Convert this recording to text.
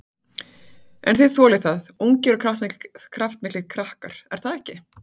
En þið þolið það, ungir og kraftmiklir krakkar, er það ekki?